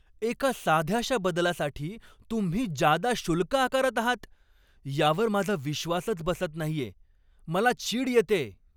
एका साध्याशा बदलासाठी तुम्ही जादा शुल्क आकारता आहात यावर माझा विश्वासच बसत नाहीय. मला चीड येतेय.